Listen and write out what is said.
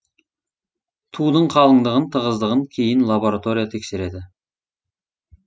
тудың қалыңдығын тығыздығын кейін лаборатория тексереді